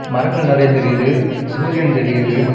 மரங்கள் நெறைய தெரிது சூரியன் தெரியுது.